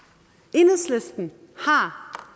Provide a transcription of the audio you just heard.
enhedslisten har